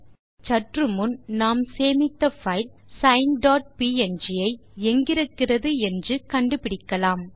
இப்போது சற்று முன் நாம் சேமித்த பைல் சைன் டாட் ப்ங் ஐ எங்கிருக்கிறது என்று கண்டுபிடிக்கலாம்